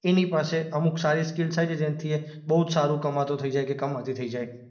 એની પાસે અમુક સારી સ્કિલ્સ આવી જાય જેના થી એ બહુ જ સારું કમાતો થઈ જાય કે કમાતી થઈ જાય.